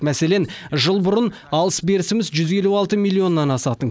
мәселен жыл бұрын алыс берісіміз жүз елу алты миллионнан асатын